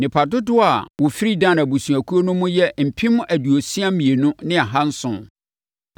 Nnipa dodoɔ a wɔfiri Dan abusuakuo no mu yɛ mpem aduosia mmienu ne ahanson (62,700).